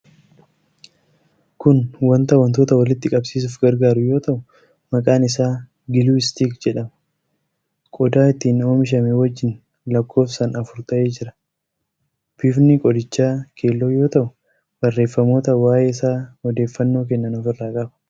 Kun wanta wantoota walitti qabsiisuuf gargaaru yoo ta'u, maqaan isaa 'Glue Stick' jedhama. Qodaa ittiin oomishame wajjin lakkoofsaan afur ta'ee jira. Bifni qodichaa keelloo yoo ta'u, barreeffamoota waa'ee isaa odeeffannoo kennan ofirraa qaba.